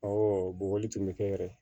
bɔgɔli tun bɛ kɛ yɛrɛ